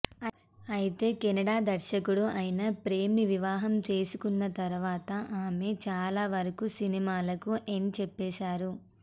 అయితే కన్నడ దర్శకుడు అయినా ప్రేమ్ ని వివాహం చేసుకున్న తరువాత ఆమె చాలా వరకు సినిమాలకు ఎండ్ చెప్పేశారు